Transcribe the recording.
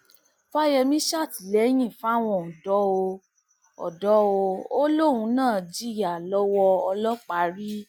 fàyẹmí ṣàtìlẹyìn fáwọn ọdọ ò ọdọ ò lóun náà jìyà lọwọ ọlọpàá rí